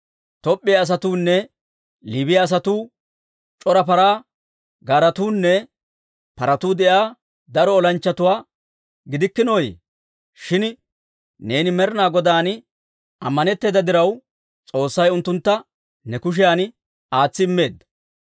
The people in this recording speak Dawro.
Top'p'iyaa asatuunne Liibiyaa asatuu, c'ora paraa gaaretuunne paratuu de'iyaa daro olanchchatuwaa gidikkinooyye? Shin neeni Med'inaa Godaan ammanetteeda diraw, S'oossay unttuntta ne kushiyan aatsi immeedda.